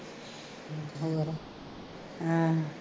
ਹਾਂ